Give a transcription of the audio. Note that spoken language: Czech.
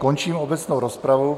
Končím obecnou rozpravu.